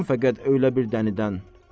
Qorxmam fəqət öylə bir dənidən.